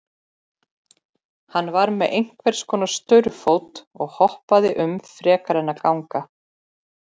Hann var með einhvers konar staurfót og hoppaði um frekar en að ganga.